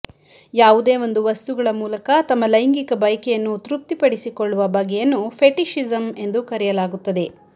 ಯಾವುದೇ ಒಂದು ವಸ್ತುಗಳ ಮೂಲಕ ತಮ್ಮ ಲೈಂಗಿಕ ಬಯಕೆಯನ್ನು ತೃಪ್ತಿಪಡಿಸಿಕೊಳ್ಳುವ ಬಗೆಯನ್ನು ಫೆಟಿಷಿಸಂ ಎಂದು ಕರೆಯಲಾಗುತ್ತದೆ